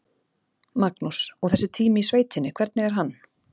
Magnús: Og þessi tími í sveitinni, hvernig er hann?